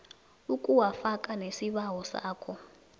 ukuwafaka nesibawo sakho